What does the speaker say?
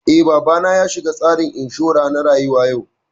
Eh, babana ya shiga tsarin inshura na rayuwa yau